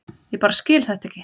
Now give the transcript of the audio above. Ég bara skil þetta ekki.